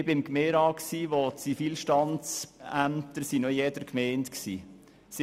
Ich war im Gemeinderat, als die Zivilstandsämter noch in jeder Gemeinde ansässig waren.